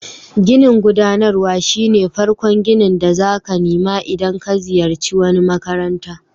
Ginin gudanarwa shine farkon ginin da zaka nima idan ka ziyace wani makaranta.